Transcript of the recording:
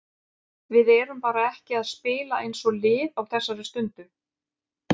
Við erum bara ekki að spila eins og lið á þessari stundu.